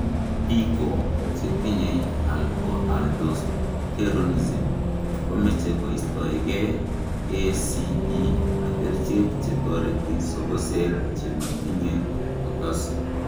Biko che tinye hypoaldosteronism ko meche koistoe gee ACE ak kerichek che toreti sokosek che matinye potassium.